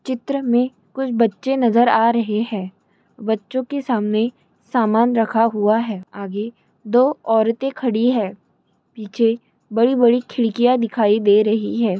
चित्र में कुछ बच्चे नजर आ र है हैं बच्चों के सामने सामान रखा हुआ है आगे दो औरतें खड़ी है पीछे बड़ी बड़ी खिड़कियां दिखाई दे--